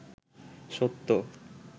সত্য